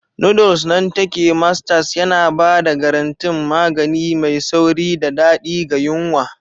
Noodles nan take Masters yana ba da garantin magani mai sauri da daɗi ga yunwa.